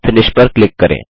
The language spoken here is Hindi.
फिनिश पर क्लिक करें